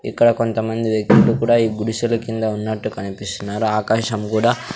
ఇక్కడ కొంతమంది వ్యక్తులు కుడా ఈ గుడిసెల కింద ఉన్నట్టు కనిపిస్తున్నారు ఆకాశం గుడా--